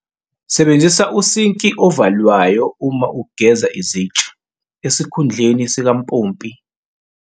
Sebenzisa usinki ovalwayo uma ugeza izitsha, esikhundleni sikampompi.